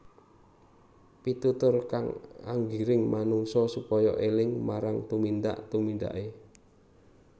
Pitutur kang nggiring manungsa supaya éling marang tumindak tumindaké